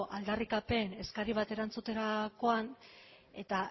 aldarrikapen eskari bat erantzutera joan eta